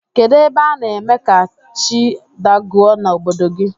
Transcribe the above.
Kedu ebe ana eme ka chi dagụọ na obodo gi?